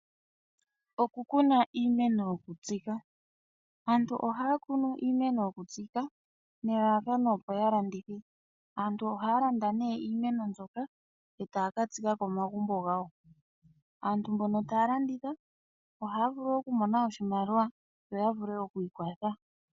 Okukuna iiimeno yokutsika. Aantu ohaya kunu iimeno yokutsika nelalakano opo ya landithe. Aantu ohaya landa nee iimeno mbyoka e taya ka tsika komagumbo gawo. Aantu mbono taya landitha ohaya vulu okumona oshimaliwa opo ya vule okwiikwatha.